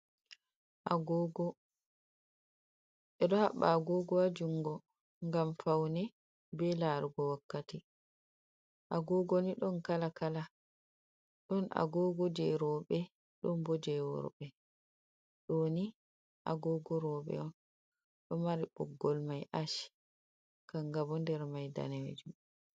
Agogo, bedo habba agogo ha jungo ,gam faune be larugo wakkati, agogoni don kala kala ,don agogo je rewbe don bo jeworbe, doni ,agogo robe on ,do mari boggol mai ash ,kangabo nder mai danejum